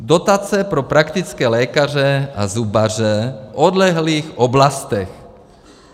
Dotace pro praktické lékaře a zubaře v odlehlých oblastech.